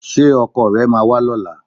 Ṣé ọkọ rẹ máa wá lọ́la?